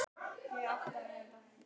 Það virðist aðeins brá af honum.